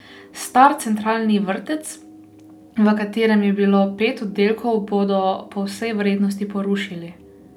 Star centralni vrtec, v katerem je bilo pet oddelkov, bodo po vsej verjetnosti porušili.